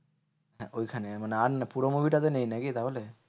ঐখানে, মানে আর না পুরো movie টা তে নেই নাকি তাহলে?